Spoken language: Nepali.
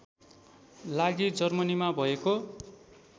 लागि जर्मनीमा भएको